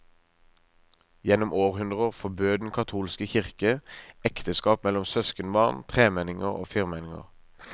Gjennom århundrer forbød den katolske kirke ekteskap mellom søskenbarn, tremenninger og firmenninger.